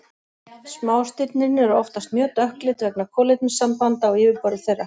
Smástirnin eru oftast mjög dökkleit vegna kolefnissambanda á yfirborði þeirra.